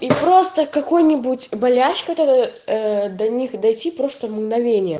и просто какой-нибудь боляч которой до них дайте просто мгновение